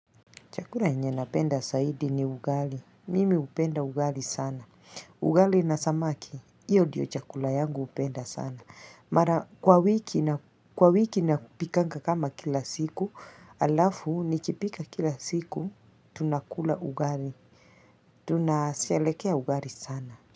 Chakula yenye napenda zaidi ni ugali. Mimi upenda ugali sana. Ugali na samaki. Iyo ndiyo chakula yangu hupenda sana. Mara kwa wiki, kwa wiki nakupikanga kama kila siku. Alafu nikipika kila siku. Tunakula ugali. Tunasherehekea ugali sana.